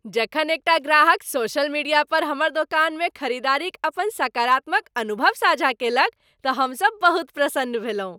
जखन एकटा ग्राहक सोशल मीडिया पर हमर दोकानमे खरीदारीक अपन सकारात्मक अनुभव साझा कयलक तऽ हमसभ बहुत प्रसन्न भेलहुँ।